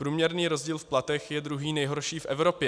Průměrný rozdíl v platech je druhý nejhorší v Evropě.